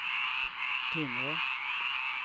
Timrå